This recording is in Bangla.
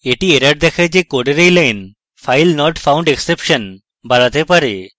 একটি error দেখায় যে code এই line filenotfoundexception বাড়াতে পারে